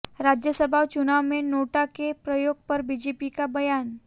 राज्यसभा चुनाव में नोटा के प्रयोग पर बीजेपी का बयान